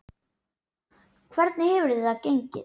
Hvernig hefur það gengið?